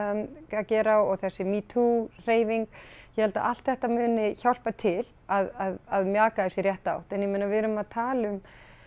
að gera og þessi MeToo hreyfing ég held að allt þetta muni hjálpa til að mjaka þessu í rétta átt en ég meina við erum að tala um